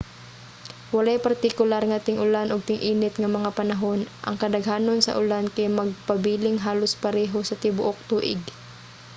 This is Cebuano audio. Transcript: walay partikular nga ting-ulan ug ting-init nga mga panahon: ang kadaghanon sa ulan kay magpabiling halos pareho sa tibuok tuig